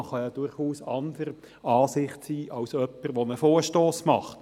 Man kann durchaus anderer Ansicht sein, als jemand, der einen Vorstoss einreicht.